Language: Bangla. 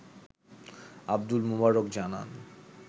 আবদুল মোবারক জানান